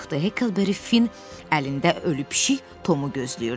Hekelberry Fin əlində ölü pişik Tomu gözləyirdi.